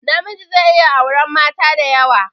Namiji zai iya auran mata diyawa